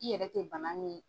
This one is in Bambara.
I yɛrɛ tɛ bana min ye.